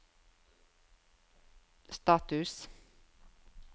status